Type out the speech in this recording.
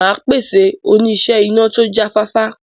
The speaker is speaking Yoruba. Màá pèsè oníṣẹ́ iná tó jáfáfá.